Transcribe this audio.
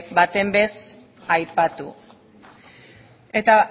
behin ere ez aipatu eta